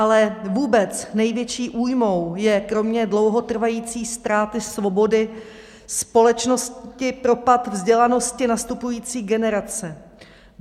Ale vůbec největší újmou je kromě dlouhotrvající ztráty svobody společnosti propad vzdělanosti nastupující generace.